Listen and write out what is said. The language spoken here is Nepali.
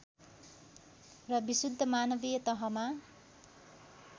र विशुद्ध मानवीय तहमा